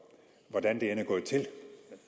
hvordan det